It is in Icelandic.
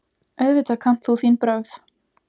Auðvitað kannt þú þín brögð.